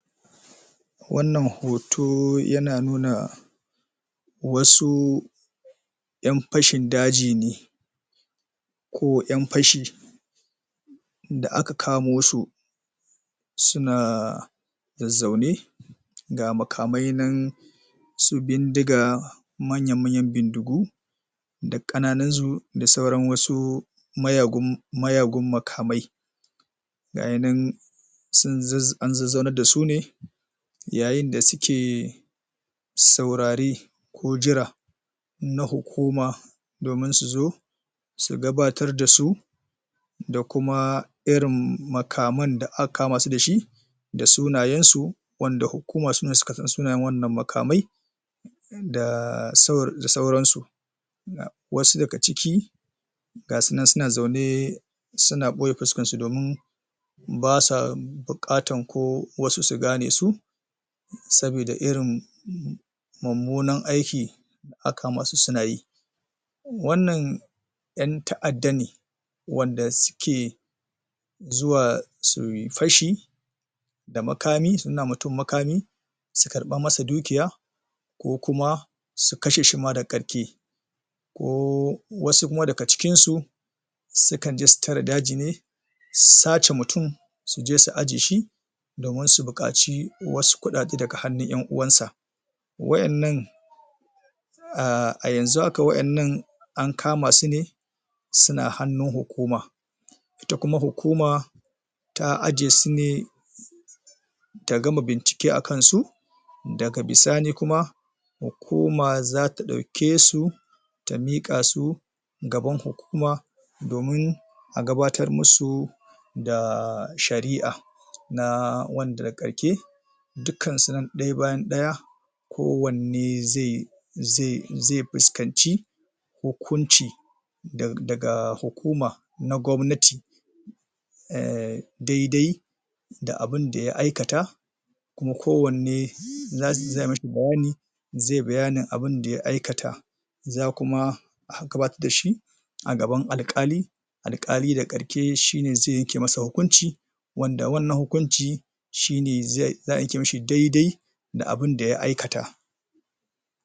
wannan hoto yana nuna wasu yan fashin daji ne ko yan fashi da aka kamosu suna zaune ga maka mai nan su bindiga manya manyan bindigu da kananinsu da sauran miyagun makamai gayi nan an zazzaunar dasu yayin da suke saurare ko jira na hukuma domin su zo su gabatar da su da kuma irin makamai da aka kamasu dashi da sunayen su wanda hukuma sune suka san wannan makmai da saurasu wasu daga ciki gasunan suna zaune suna boye fuskansu basu bukatar ko wasu su gane su sabida irin mumunar aiki da aka kamasu sunayi wannan yan ta'adda ne wanda suke zuwa suyi fashi da makami su nuna wa mutum makami su karba masa dukiya ko kuma su kashe shi ma daga qarke ko wasu kuma daga cikinsu sukan je su tare daji ne su sace mutum suje su ajiyeshi domin su bukaci wasu kudade daga hannun yan uwansa wa yan nan a yanzu haka wa yannan an kamasu ne suna hannun hukuma ita kuma hukuma ta aje sune tagama bincike akansu daga bisani kuma hukuma zata dauke su ta miqa su gaban hukuma domin a gabatar musu da shari'a na wanda da ga qarke dukan su nan daya bayan daya kowanne zai zai fuskanci hukunci daga hukuman na gobnati em daidai da abunda ya aikata kuma kowanne za'amishi bayani zai bayanin abunda ya aika ta zakuma a gbaatar da shi a gaban alkali alkali daga qarke shine wanda zai yanke masa hkunci wanda wannan hukunci shine za'a yanke masa daidai da abunda ya aikata